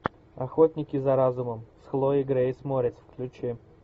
охотники за разумом с хлоей грейс морец включи